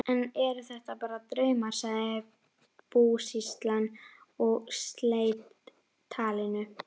Enn eru þetta bara draumar, sagði búsýslan og sleit talinu.